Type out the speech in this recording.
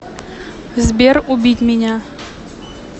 сбер убить меня